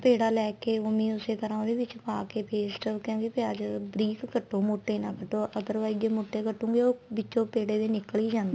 ਪੇੜਾ ਲੈ ਕੇ ਉਵੀ ਉਸੀ ਤਰ੍ਹਾਂ ਉਹਦੇ ਵਿੱਚ ਪਾਕੇ paste ਕਹਿੰਦੇ ਵੀ ਅੱਜ ਬਰੀਕ ਕਟੋ ਮੋਟੇ ਨਾ ਕਟੋ other wise ਜੇ ਮੋਟੇ ਕਟੋਗੇ ਉਹ ਵਿਚੋ ਪੇੜੇ ਵੀ ਨਿਕਲ ਈ ਜਾਂਦੇ ਏ